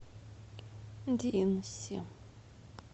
динси